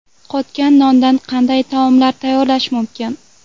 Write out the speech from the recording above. Qotgan nondan qanday taomlar tayyorlash mumkin?.